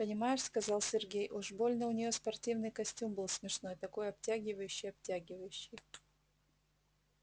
понимаешь сказал сергей уж больно у неё спортивный костюм был смешной такой обтягивающий-обтягивающий